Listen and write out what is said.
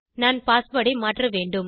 நான் பாஸ்வேர்ட் ஐ மாற்றவேண்டும்